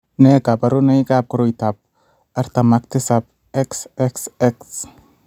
Nee kabarunoikab koroitoab 47 XXX?